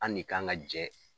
An ne kan ka jɛ.